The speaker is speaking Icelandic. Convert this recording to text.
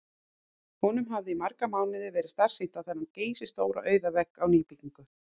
Honum hafði í marga mánuði verið starsýnt á þennan geysistóra auða vegg á nýbyggingu